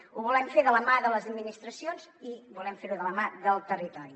ho volem fer de la mà de les administracions i volem fer ho de la mà del territori